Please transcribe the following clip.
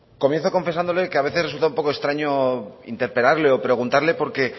comienzo confesándole que a veces resulta un poco extraño interpelarle o preguntarle porque